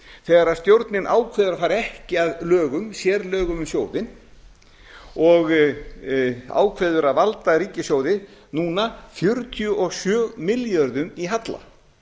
þegar stjórnin ákveður að fara ekki að lögum sérlögum um sjóðinn og ákveður að valda ríkissjóði núna fjörutíu og sjö milljörðum í halla